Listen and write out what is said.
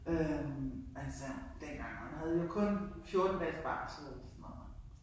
Øh altså dengang men havde jo kun 14 dages barsel eller sådan noget